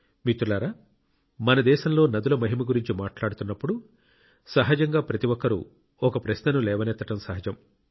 మిత్రులారా మన దేశంలో నదుల మహిమ గురించి మాట్లాడుతున్నప్పుడు సహజంగా ప్రతి ఒక్కరూ ఒక ప్రశ్నను లేవనెత్తడం సహజం